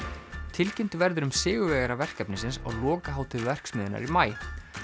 tilkynnt verður um sigurvegara verkefnisins á lokahátíð verksmiðjunnar í maí